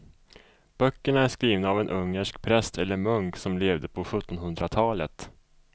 Böckerna är skrivna av en ungersk präst eller munk som levde på sjuttonhundratalet.